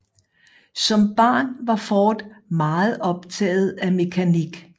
Som barn var Ford meget optaget af mekanik